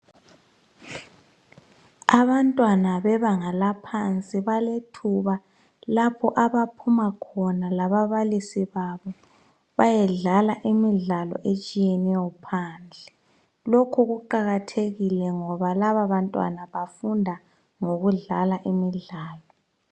abantwana bebanga laphansi balethuba lapho abaphuma khona lababalisi babo bayedlala imidlalo etshiyeneyo phandle lokhu kuqakathekile ngoba laba bantwana bafunda ngokudlala imidlalo